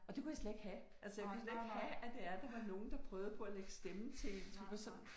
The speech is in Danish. Og det kunne jeg slet ikke have altså jeg kunne slet ikke have at det er der var nogen der prøvede på at lægge stemme til sådan